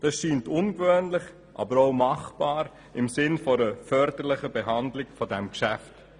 Dies scheint ungewöhnlich, aber auch machbar zu sein im Sinne einer förderlichen Behandlung dieses Geschäfts.